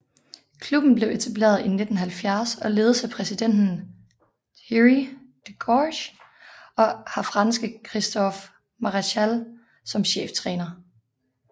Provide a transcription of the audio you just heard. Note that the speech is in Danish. Klubben blev etableret i 1970 og ledes af præsidenten Thierry Degorce og har franske Christophe Maréchal som cheftræner